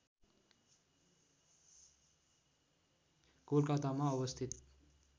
कोलकातामा अवस्थित